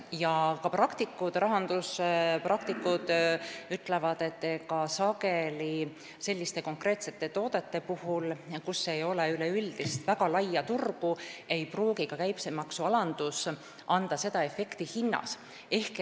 Ka praktikud, rahandusspetsialistid ütlevad, et sageli selliste konkreetsete toodete puhul, kus ei ole üleüldist väga laia turgu, ei pruugi ka käibemaksu alandus anda mingit hinnaefekti.